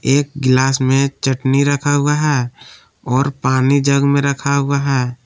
एक गिलास में चटनी रखा हुआ है और पानी जग में रखा हुआ है।